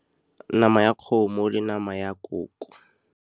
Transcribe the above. Nama ya kgomo le nama ya koko.